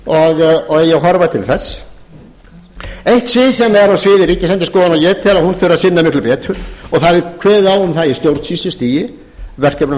og eigi að horfa til þess eitt svið sem er á sviði ríkisendurskoðunar og ég tel að hún þurfi að sinna illu betur og það er kveðið á